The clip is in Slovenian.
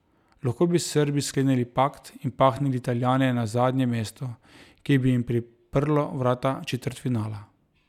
Lahko bi s Srbi sklenili pakt in pahnili Italijane na zadnje mesto, ki bi jim priprlo vrata četrtfinala.